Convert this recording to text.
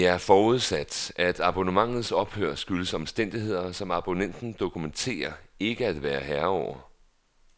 Det er forudsat, at abonnementets ophør skyldes omstændigheder, som abonnenten dokumenterer ikke at være herre over.